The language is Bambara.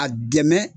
A dɛmɛ